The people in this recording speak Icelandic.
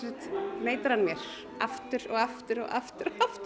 neita hann mér aftur og aftur og aftur og aftur